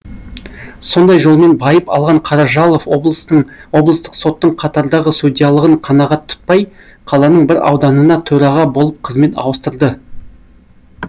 сондай жолмен байып алған қаражалов облыстық соттың қатардағы судьялығын қанағат тұтпай қаланың бір ауданына төраға болып қызмет ауыстырды